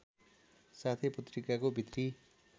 साथै पत्रिकाको भित्री